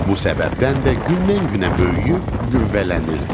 Bu səbəbdən də gündən-günə böyüyüb qüvvələnirdim.